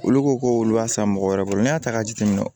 Olu ko ko olu b'a san mɔgɔ wɛrɛ bolo n'i y'a ta k'a jateminɛ